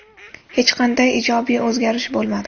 Hech qanday ijobiy o‘zgarish bo‘lmadi.